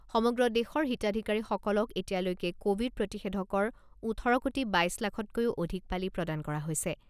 সমগ্ৰ দেশৰ হিতাধিকাৰীসকলক এতিয়ালৈকে ক'ভিড প্ৰতিষেধকৰ ওঠৰ কোটি বাইছ লাখতকৈও অধিক পালি প্ৰদান কৰা হৈছে।